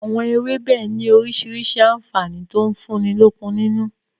Àwọn ewébẹ̀ ni orísirísi àǹfààní to ń fúnni lókun nínú